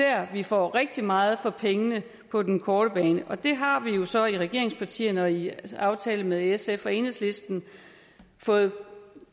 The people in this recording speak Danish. at vi får rigtig meget for pengene på den korte bane og det har vi jo så i regeringspartierne og i en aftale med sf og enhedslisten fået